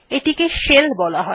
এটিকে শেল বলা হয়